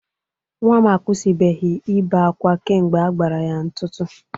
Nwa m akwụsịbeghi ibe akwa kemgbe agbara ya ntụtu